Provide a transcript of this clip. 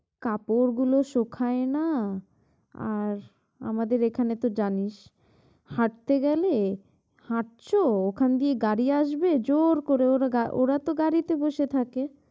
কাপড় গুলো শুখায় না আর আমাদের এখানে তো জানিস, হাটতে গেলে হাটছো ওখান দিয়ে গাড়ি আসবে জোড় করে ওরা গা ~তো গাড়িতে বসে থাকবে।